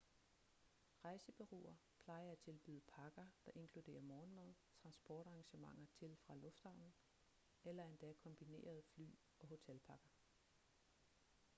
rejsebureauer plejer at tilbyde pakker der inkluderer morgenmad transportarrangementer til/fra lufthavnen eller endda kombinerede fly- og hotelpakker